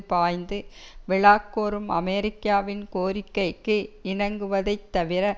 பாய்ந்து விழக்கோரும் அமெரிக்காவின் கோரிக்கைக்கு இணங்குவதைத் தவிர